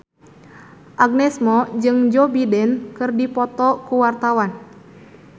Agnes Mo jeung Joe Biden keur dipoto ku wartawan